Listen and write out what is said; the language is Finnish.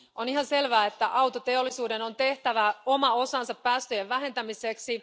On ihan selvää, että autoteollisuuden on tehtävä oma osansa päästöjen vähentämiseksi.